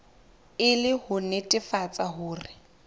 e le ho nnetefatsa hore